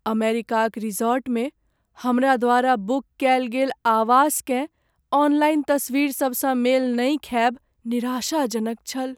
अमेरिकाक रिसॉर्टमे हमरा द्वारा बुक कएल गेल आवासकेँ ऑनलाइन तस्वीरसभसँ मेल नहि खाएब निराशाजनक छल।